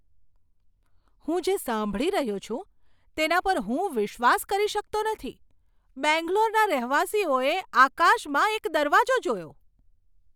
હું જે સાંભળી રહ્યો છું તેના પર હું વિશ્વાસ કરી શકતો નથી! બેંગ્લોરના રહેવાસીઓએ આકાશમાં એક દરવાજો જોયો!